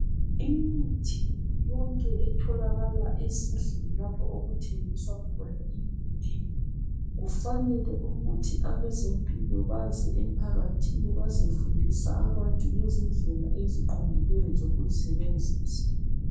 Imithi yonke etholakala ezindlini lapho okuthengisa khona imithi kufanele ukuthi abezempilo baze emphakathini bazefundisa abantu ngezindlela eziqondileyo zokuzisebenzisa.